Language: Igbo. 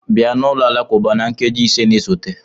Bịa n'ụlọ alakụba na nkeji ise na-esote!